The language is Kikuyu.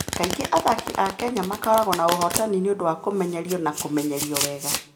Kaingĩ athaki a Kenya makoragwo na ũhootani nĩ ũndũ wa kũmenyerio na kũmenyerio wega.